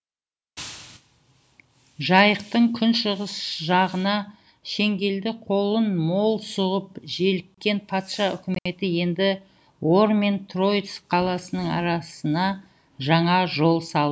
жайықтың күншығыс жағына шеңгелді қолын мол сұғып желіккен патша үкіметі енді ор мен троицк қаласының арасына жаңа жол салды